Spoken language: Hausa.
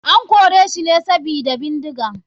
An koreshi ne sabida bindiga.